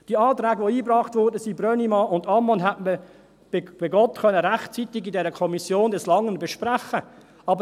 Die Anträge, die eingebracht wurden, Brönnimann und Ammann, hätte man, bei Gott, in der Kommission rechtzeitig des Langen und Breiten besprechen können.